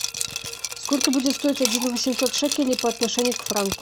сколько будет стоить один восемьсот шекелей по отношению к франку